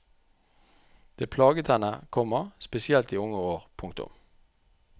Det plaget henne, komma spesielt i unge år. punktum